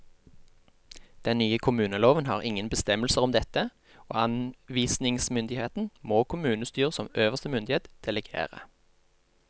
Den nye kommuneloven har ingen bestemmelser om dette, og anvisningsmyndigheten må kommunestyret som øverste myndighet delegere.